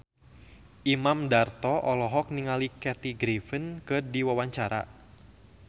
Imam Darto olohok ningali Kathy Griffin keur diwawancara